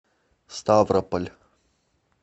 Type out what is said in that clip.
ставрополь